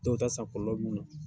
Dɔw ta